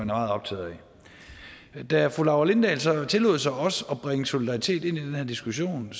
meget optaget af da fru laura lindahl så tillod sig også at bringe solidaritet ind i den her diskussion